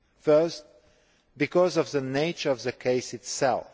First, because of the nature of the case itself.